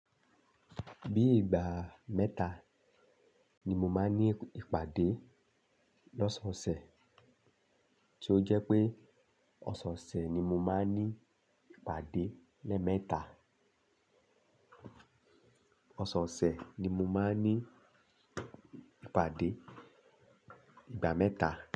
Bí ìgbà mẹ́ta ni mo máa ní ìpàdé lọ́se ọ̀sẹ̀, tí ó jẹ́ pé ọ̀sẹ̀ ọ̀sẹ̀ ni mo máa ní ìpàdé lẹ́ẹ̀mẹ́ta. Ọ̀sẹ̀ ọ̀sẹ̀ ni mo máa ní ìpàdé ìgbà mẹ́ta.